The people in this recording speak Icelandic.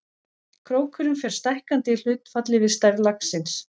Krókurinn fer stækkandi í hlutfalli við stærð laxins.